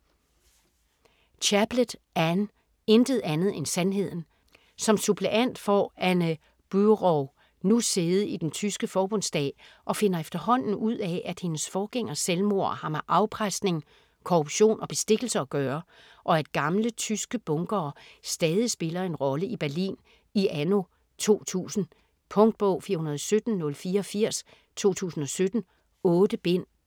Chaplet, Anne: Intet andet end sandheden Som suppleant får Anne Buraü nu sæde i den tyske Forbundsdag og finder efterhånden ud af, at hendes forgængers selvmord har med afpresning, korruption og bestikkelse at gøre, og at gamle tyske bunkere stadig spiller en rolle i Berlin i anno 2000. Punktbog 417084 2017. 8 bind.